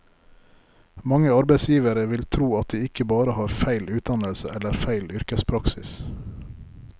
Mange arbeidsgivere vil tro at de ikke bare har feil utdannelse eller feil yrkespraksis.